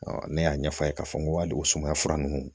ne y'a ɲɛf'a ye k'a fɔ ko hali o sumaya fura ninnu